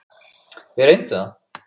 Við reynum það.